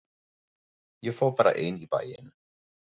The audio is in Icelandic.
Ég fór bara ein í bæinn.